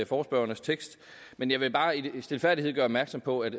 forespørgernes tekst men jeg vil bare i al stilfærdighed gøre opmærksom på at